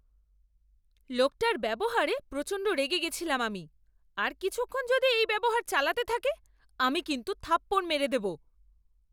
লোকটার ব্যবহারে প্রচণ্ড রেগে গেছিলাম আমি। আর কিছুক্ষণ যদি এই ব্যবহার চালাতে থাকে, আমি কিন্তু থাপ্পড় মেরে দেব।